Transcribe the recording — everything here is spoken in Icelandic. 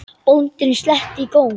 Bóndinn sletti í góm.